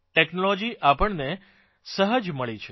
technology આપણને સહજ મળેલી છે